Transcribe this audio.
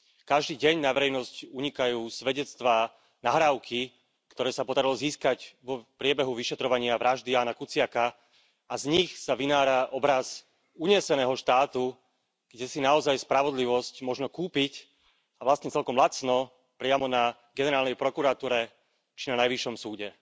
Každý deň na verejnosť unikajú svedectvá nahrávky, ktoré sa podarilo získať v priebehu vyšetrovania vraždy Jána Kuciaka, a z nich sa vynára obraz uneseného štátu, kde si naozaj spravodlivosť možno kúpiť a vlastne celkom lacno, priamo na generálnej prokuratúre či na najvyššom súde.